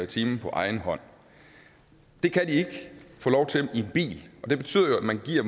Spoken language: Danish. time på egen hånd det kan de ikke få lov til i en bil og det betyder jo at man giver